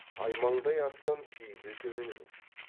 аймаңдай аттан күйі де төмен емес